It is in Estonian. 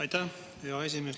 Aitäh, hea esimees!